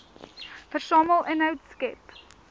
versamel inhoud skep